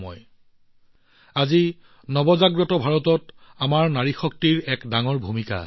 আজি ভাৰতৰ সম্ভাৱনা যি এক নতুন দৃষ্টিকোণৰ পৰা উদ্ভৱ হৈছে আমাৰ নাৰী শক্তিৰ ইয়াত যথেষ্ট ডাঙৰ ভূমিকা আছে